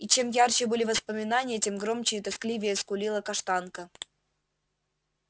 и чем ярче были воспоминания тем громче и тоскливее скулила каштанка